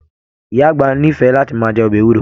Ìyá àgbà n'ifẹ láti máa jẹ ọbẹ ewuro.